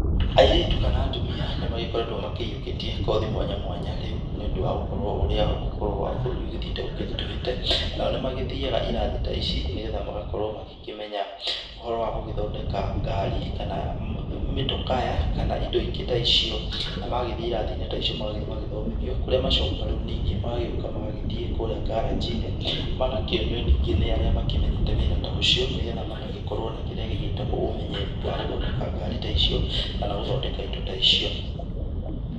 Airĩtu kana atumia nĩ magĩkoretwo makĩiyũkitie kothi mwanya mwanya rĩu nĩ ũndũ wa gũkorwo ũrĩa ũhoro wa bũrũri ũgĩthĩite ũkĩrituhĩte, nao nĩ magĩthĩaga irathi ta ici nĩgetha magagĩkorwo magĩkĩmenya ũhoro wa gũgĩthondeka ngari kana mĩtokaya kana indo ingĩ ta icio na magĩthiĩ ĩrathi-inĩ ta icio magagĩthiĩ magagĩthomithio kũrĩa macokaga rĩu ningĩ magagĩoka magagĩthiĩ ngaranji-inĩ ,magakĩonio ningĩ nĩ arĩa makĩmenyete wĩra ta ũcio nĩgetha magagĩkorwo na kĩrĩa gĩgĩtagwo ũmenyeri wa gũthondeka ngari ta icio kana gũthondeka indo ta icio.